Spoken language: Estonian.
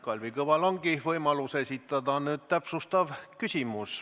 Kalvi Kõval ongi nüüd võimalus esitada täpsustav küsimus.